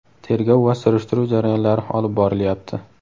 tergov va surishtiruv jarayonlari olib borilyapti.